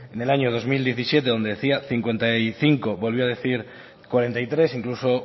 en el año dos mil diecisiete donde decía cincuenta y cinco volvió a decir cuarenta y tres incluso